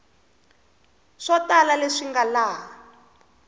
swo tala leswi nga laha